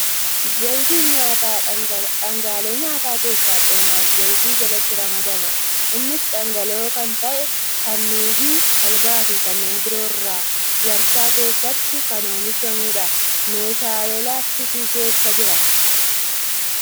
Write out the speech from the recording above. Zayitiin nyaataa dhaangaalee nyaataa keessaa coomaa fi zayita jalatti ramadama. Innis dhangala'oo kan ta'e, kan nuugii, talbaa fi kanneen biroo irraa waarshaa keessatti kan oomishamu dha. Meeshaa laastikii keessa jira.